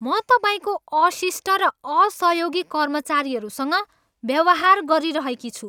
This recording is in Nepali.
म तपाईँको अशिष्ट र असहयोगी कर्मचारीहरूसँग व्यवहार गरिरहेकी छु।